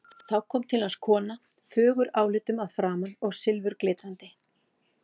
Þá kom til hans kona, fögur álitum að framan og silfurglitrandi.